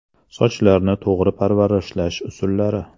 Sochlarni to‘g‘ri parvarishlash usullari.